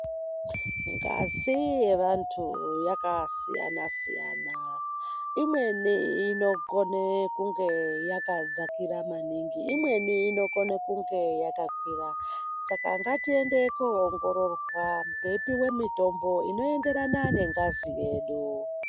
Ngazi yevantu yakasiyana-siyana, imweni inokone kunge yakadzakira maningi, imweni inokone kunge yakakwira. Saka ngatiende koongororwa teipiwe mitombo inoenderana nengazi yedu.